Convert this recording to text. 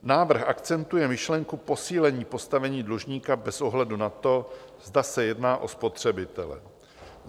Návrh akcentuje myšlenku posílení postavení dlužníka bez ohledu na to, zda se jedná o spotřebitele.